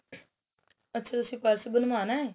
ਅੱਛਾ ਤੁਸੀਂ purse ਬਣਵਾਣੇ